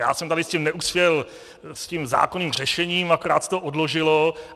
Já jsem tady s tím neuspěl, s tím zákonným řešením, akorát se to odložilo.